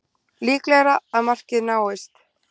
Líklegra að markmið náist